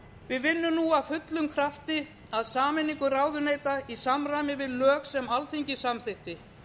við vinnum nú af fullum krafti að sameiningu ráðuneyta í samræmi við lög sem alþingi samþykkti